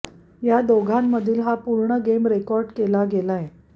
या दोघांमधील हा पूर्ण गेम रेकॉर्ड केला गेलाय